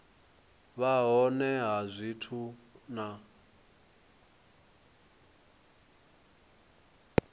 vha hone ha zwithu na